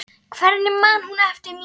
Hvernig man hún eftir mér?